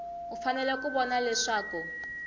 u fanele ku vona leswaku